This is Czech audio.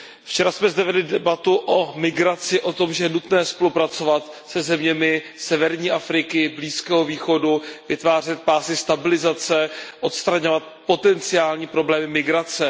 Včera jsme zde vedli debatu o migraci, o tom, že je nutné spolupracovat se zeměmi severní Afriky, Blízkého východu, vytvářet pásy stabilizace, odstraňovat potenciální problémy migrace.